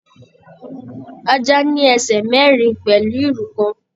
Ajá ní ẹsẹ mẹrin pẹlú ìrù kan.